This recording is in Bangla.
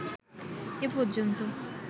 এ পর্যন্ত